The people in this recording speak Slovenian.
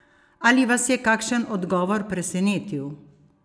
Ali vas je kakšen odgovor presenetil?